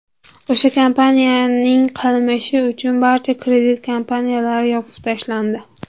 O‘sha kompaniyaning qilmishi uchun barcha kredit kompaniyalari yopib tashlandi.